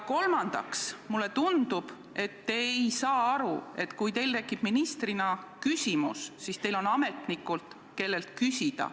Kolmandaks, mulle tundub, et te ei saa aru, et kui teil tekib ministrina küsimus, siis teil on ametnikud, kellelt küsida.